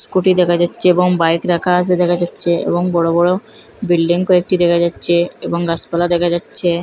Scooty দেকা যাচ্চে এবং বাইক রাকা আসে দেকা যাচ্চে এবং বড়ো বড়ো বিল্ডিং কয়েকটি দেকা যাচ্চে এবং গাসপালা দেকা যাচ্চে ।